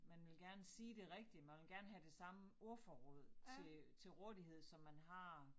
Man vil gerne sige det rigtigt man vil gene have det samme ordforråd til til rådighed som man har